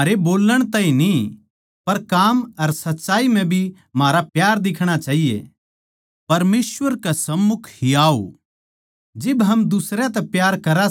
अर जो कुछ हम परमेसवर तै माँग्गा सां वो हमनै उसतै मिलै सै क्यूँके हम उसकै हुकम नै मान्ना सां अर जो उसनै आच्छा लाग्गै सै वोए हम करा सां